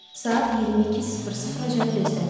Saat 22:00-can gözlədim.